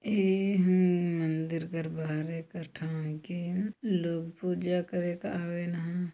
ये है मंदिर कर बाहर हैं कस्टमर के लोग पूजा करे का आवेन ह।